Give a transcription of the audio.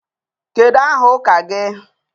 Kedu aha ụka gị?